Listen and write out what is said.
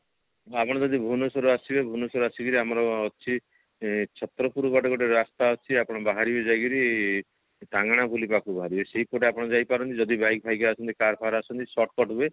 ଆପଣ ଯଦି ଭୁବନେଶ୍ବର ରୁ ଆସିବେ ଭୁବନେଶ୍ବର ଆସିକିରି ଆମର ଅଛି ଇଁ ଛତ୍ରପୁର ବାଟେ ଗୋଟେ ରାସ୍ତା ଅଛି ଆପଣ ବାହାରିବେ ଯାଇକିରି ଟାଙ୍ଗଣପଲ୍ଲୀ ପାଖକୁ ବାହାରିବେ ସେଇପଟେ ଆପଣ ଯାଇପାରନ୍ତି ଯଦି bike ଫାଇକ ଆସନ୍ତି car ଫାର ଆସନ୍ତି shortcut ହୁଏ